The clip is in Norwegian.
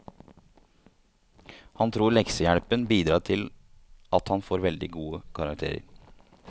Han tror leksehjelpen bidrar til at han får veldig gode karakterer.